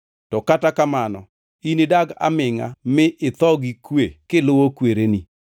To kata kamano, inidag amingʼa mi itho gi kwe kiluwo kwereni.